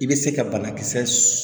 I bɛ se ka banakisɛ